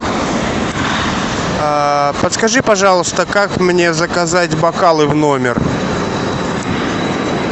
подскажи пожалуйста как мне заказать бокалы в номер